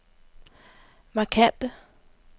markante